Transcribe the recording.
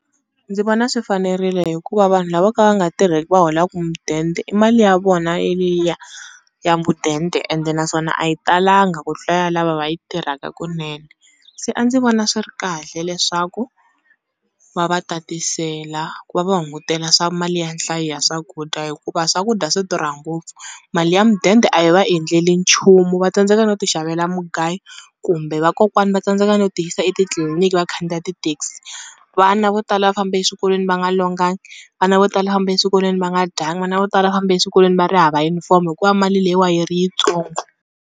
Ndzi vona swi fanerile hikuva vanhu lavo ka va nga tirheki va holaka mudende i mali ya vona yeliya ya mudende ende naswona a yi talanga ku tlula ya lava va yi tirhaka kunene. Se a ndzi vona swi ri kahle leswaku va va tatisela ku va va hungutela swa mali ya nhlayo ya swakudya hikuva swakudya swi durha ngopfu mali ya mudende a yi va endleli nchumu va tsandzeka no ti xavela mugayo, kumbe vakokwana va tsandzeka no ti yisa etitliliniki va khandziya ti-taxi. Vana vo tala va fambe eswikolweni va nga longangi, vana vo tala fambe eswikolweni va nga dyangi vana vo tala va fambe eswikolweni va ri hava yunifomo hikuva mali leyiwa yi ri yitsongo.